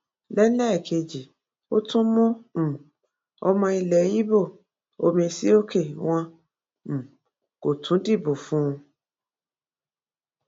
lélẹẹkejì ó tú mú um ọmọ ilẹ ibo ọmèsìókè wọn um kó tún dìbò fún un